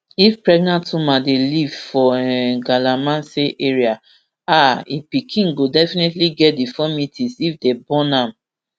if pregnant woman dey live for um galamsey area um im pickin go definitely get deformities if dey born am